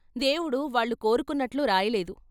దేవుడు వాళ్ళు కోరుకున్నట్లు రాయలేదు.